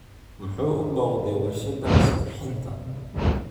Muxuu u booqday warshadda isqurxinta?